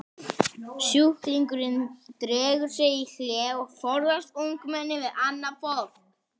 Sjúklingurinn dregur sig í hlé og forðast umgengni við annað fólk.